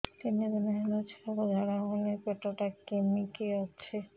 ତିନି ଦିନ ହେଲା ଛୁଆକୁ ଝାଡ଼ା ହଉନି ପେଟ ଟା କିମି କି ଅଛି